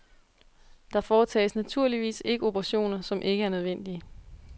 Der foretages naturligvis ikke operationer, som ikke er nødvendige.